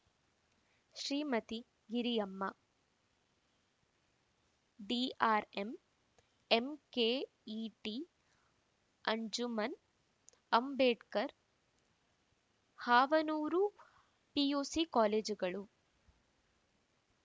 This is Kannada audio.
Shrimati Giriyamma DRM MKET Anjuman Ambedkar Havanur PUC ಕಾಲೇಜುಗಳು